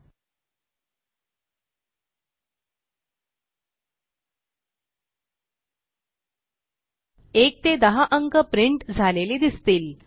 1 ते 10 अंक प्रिंट झालेले दिसतील